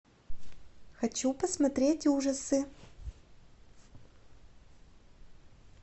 хочу посмотреть ужасы